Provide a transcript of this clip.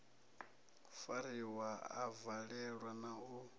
fariwa a valelwa na u